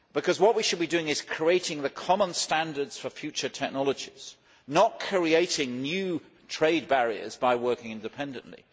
What we should be doing is creating the common standards for future technologies, not creating new trade barriers by working independently.